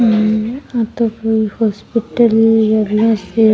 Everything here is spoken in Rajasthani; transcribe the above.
हम्म आ तो कोई हॉस्पिटल लागो।